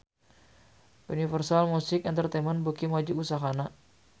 Universal Music Entertainment beuki maju usahana